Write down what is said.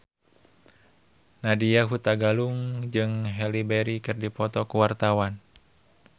Nadya Hutagalung jeung Halle Berry keur dipoto ku wartawan